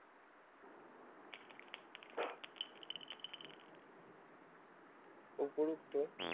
উপরুক্ত